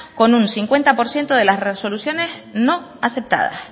con un cincuenta por ciento de las resoluciones no aceptadas